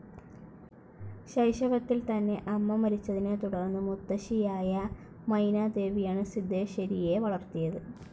ശൈശവത്തിൽ തന്നെ അമ്മ മരിച്ചതിനെ തുടർന്ന് മുത്തശ്ശിയായ മൈനാദേവിയാണ് സിദ്ധേശ്വരിയെ വളർത്തിയത്.